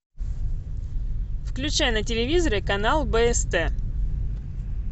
включай на телевизоре канал бст